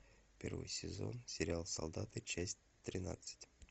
первый сезон сериал солдаты часть тринадцать